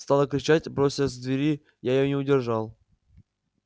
стала кричать бросилась к двери я её не удерживал